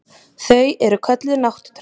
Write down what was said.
Þau eru kölluð nátttröll.